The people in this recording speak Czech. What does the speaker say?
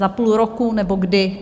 Za půl roku, nebo kdy?